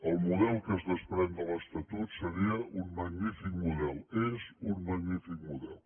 el model que es des·prèn de l’estatut seria un magnífic model és un mag·nífic model